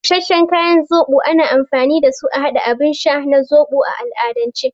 Busasshen ganyen zoɓo ana amfani dasu a haɗa abin sha na zoɓo a al'adance.